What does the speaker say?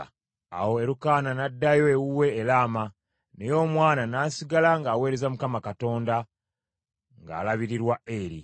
Awo Erukaana n’addayo ewuwe e Lama, naye omwana n’asigala ng’aweereza Mukama Katonda, ng’alabirirwa Eri.